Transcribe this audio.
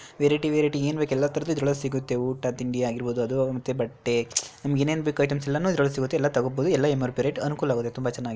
Variety variety ಏನು ಬೇಕು ಎಲ್ಲ ಸಿಗುತ್ತೆ. ಊಟ ತಿಂಡಿ ಆಗಿರ್ಬಹುದು ಅಥವಾ ಬಟ್ಟೆ ನಿಮಗೆ ಇನ್ನೇನ್ ಬೇಕು ಐಟಮ್ಸ್ ಎಲ್ಲನೂ ಇದ್ರಲ್ ಸಿಗುತ್ತೆ. ಎಲ್ಲ ತಗೋಬಹುದು ಎಲ್ಲ ಎಂ.ಆರ್.ಪಿ. ರೇಟ್ ಅನುಕೂಲ ವಾಗಿ ತುಂಬ ಚೆನ್ನಾಗಿದೆ.